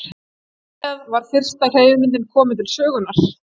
Þar með var fyrsta hreyfimyndin komin til sögunnar.